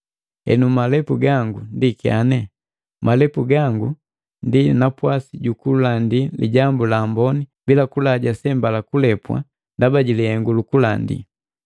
Henu malepu ga ndi kyane? Malepu gango ndi napwasi jukulandi Lijambu la Amboni bila kulaja sembala kulepwa ndaba jilihengu lukulandi.